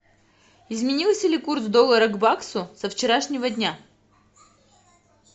изменился ли курс доллара к баксу со вчерашнего дня